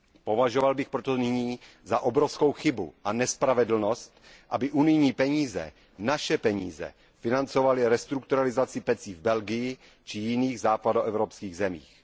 Považoval bych proto nyní za obrovskou chybu a nespravedlnost, aby unijní peníze, naše peníze, financovaly restrukturalizaci pecí v Belgii či jiných západoevropských zemích.